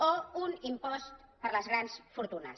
o un impost per a les grans fortunes